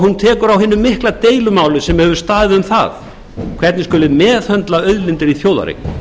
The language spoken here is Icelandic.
hún tekur á hinu mikla deilumáli sem hefur staðið um það hvernig skuli meðhöndla auðlindir í þjóðareign